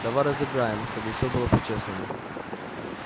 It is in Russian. давай разыграем чтобы всё было по-честному